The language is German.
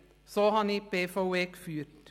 So habe ich die BVE geführt.